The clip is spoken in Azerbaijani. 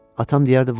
Atam deyərdi var.